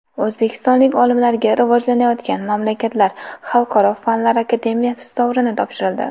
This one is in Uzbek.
O‘zbekistonlik olimlarga Rivojlanayotgan mamlakatlar xalqaro fanlar akademiyasi sovrini topshirildi.